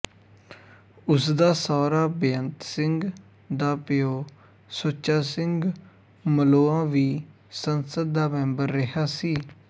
ਉਸਦਾ ਸਹੁਰਾ ਬੇਅੰਤ ਸਿੰਘ ਦਾ ਪਿਓ ਸੁੱਚਾ ਸਿੰਘ ਮਲੋਆ ਵੀ ਸੰਸਦ ਦਾ ਮੈਂਬਰ ਰਿਹਾ ਸੀ